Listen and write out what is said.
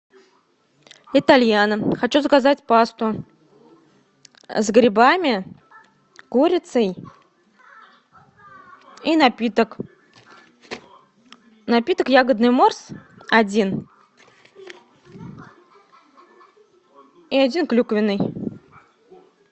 итальяно хочу заказать пасту с грибами курицей и напиток напиток ягодный морс один и один клюквенный